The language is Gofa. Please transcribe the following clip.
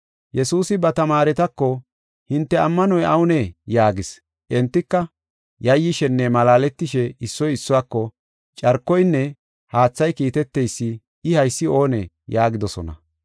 Yesuusi ba tamaaretako, “Hinte ammanoy awunee?” yaagis. Entika, yayyishenne malaaletishe issoy issuwako, “Carkoynne haathay kiiteteysi, I haysi oonee” yaagidosona.